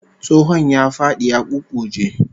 Tsohon ya fadi ya ƙuƙƙuje